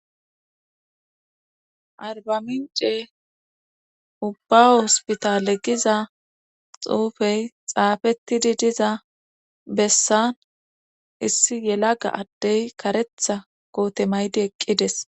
arbamince ubba hospitalegiza xuufey xaafettidi diza bessan issi yelaga addey karetha koote maydi eqqides